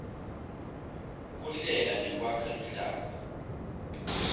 kuhlela nekwakha luhlaka